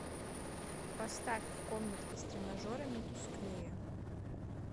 поставь в комнатке с тренажерами тусклее